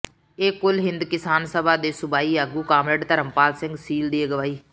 ਇਹ ਕੁਲ ਹਿੰਦ ਕਿਸਾਨ ਸਭਾ ਦੇ ਸੂਬਾਈ ਆਗੂ ਕਾਮਰੇਡ ਧਰਮਪਾਲ ਸਿੰਘ ਸੀਲ ਦੀ ਅਗਵਾਈ